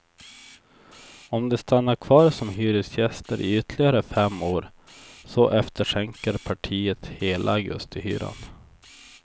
Om de stannar kvar som hyresgäster i ytterligare fem år så efterskänker partiet hela augustihyran.